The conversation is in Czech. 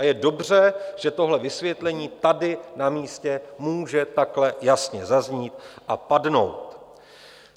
A je dobře, že tohle vysvětlení tady na místě může takhle jasně zaznít a padnout.